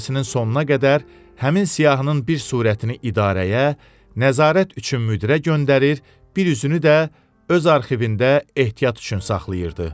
sinin sonuna qədər həmin siyahının bir surətini idarəyə, nəzarət üçün müdürə göndərir, bir üzünü də öz arxivində ehtiyat üçün saxlayırdı.